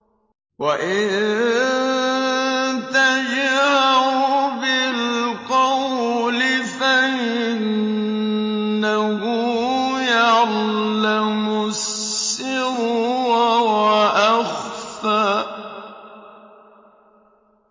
وَإِن تَجْهَرْ بِالْقَوْلِ فَإِنَّهُ يَعْلَمُ السِّرَّ وَأَخْفَى